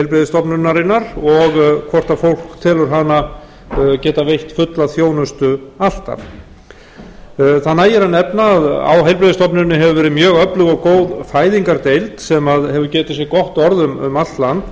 heilbrigðisstofnunarinnar og hvort fólk telur hana geta veitt fulla þjónustu alltaf það nægir að nefna að á heilbrigðisstofnuninni hefur verið mjög góð og öflug fæðingardeild sem hefur getið sér gott orð um allt land